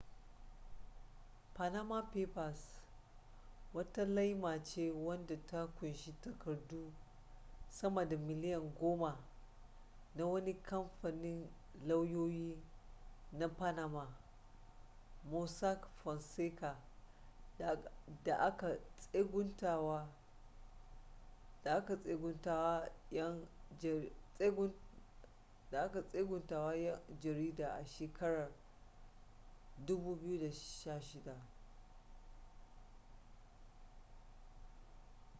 panama papers wata laima ce wadda ta kunshi takardu sama da miliyan goma na wani kamfanin lauyoyi na panama mossack fonseca da aka tseguntawa yan jarida a shekarar 2016